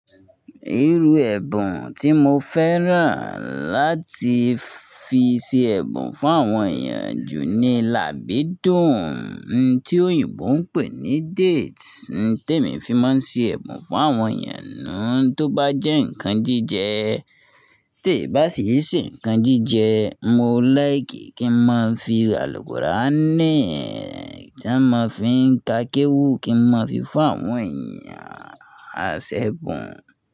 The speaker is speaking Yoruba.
Ìrù ẹbùn tí mo fẹ́ràn láti fi ṣe ẹ̀bùn fún àwọn èèyàn jù ní làbídùn, tí òyìnbó ń pè ní date, tí èmi fi máa ń ṣe ẹ̀bùn fún àwọn èèyàn náà tó bá jẹ́ nǹkan jíjẹ. Tè bá sì ṣe nǹkan jíjẹ, mo like kí n máa fi ràlùpùràánì tí a máa fi ń ka kéwú kí n máa fi fún àwọn èèyàn àsẹ́gùn.